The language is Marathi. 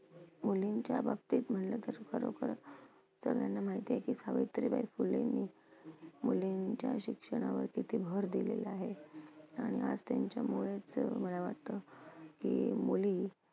मुलींच्या बाबतीत म्हंटलं तर खरोखर सगळ्यांना माहिती आहे की सावित्रीबाई फूलेंनी मुलींच्या शिक्षणावरती भर दिलेला आहे. आणि आज त्यांच्यामुळेच अं मला वाटतं, की मुली